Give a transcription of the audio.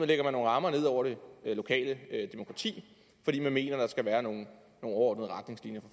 der nogle rammer ned over det lokale demokrati fordi man mener der skal være nogle overordnede retningslinjer